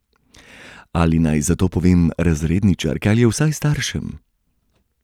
Ali naj za to povem razredničarki ali vsaj staršem?